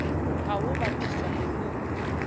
ha ho bapiswa le ho